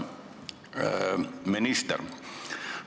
Hea minister!